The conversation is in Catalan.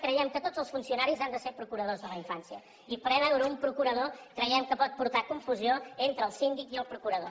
creiem que tots els funcionaris han de ser procuradors de la infància i preveure un procurador creiem que pot portar confusió entre el síndic i el procurador